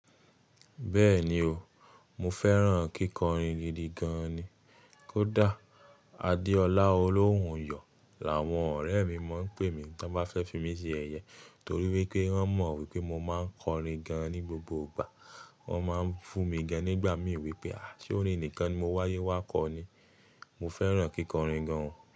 Bẹ́ẹ̀ni o, mo fẹ́ràn kíkọrin gidi gan ni. Kódà Adeola Olounyọ̀ làwọn ọ̀rẹ́ mi máa ń pè mí tan bá fẹ́ fi mí ṣe sẹyẹ torí wípé wọ́n mọ̀ wípé mo máa ń kọrin gan ní gbogbo ìgbà. Wọ́n máa ń fún mi gan nígbà mí wípé à sorin nìkan ni mo wáyé wá kọ ni. Mo fẹ́ràn kíkọrin gan.